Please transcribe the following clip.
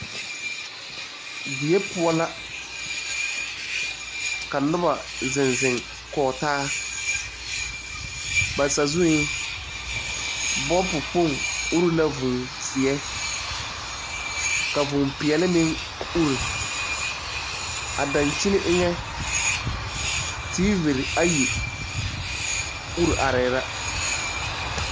Die poɔ la ka noba zeŋ zeŋ kɔge taa ba sazueŋ bolpo kpoŋ uri la vūū seɛ ka vūū peɛle meŋ uri a daŋkyini eŋa tiivi ayi uri arɛɛ la.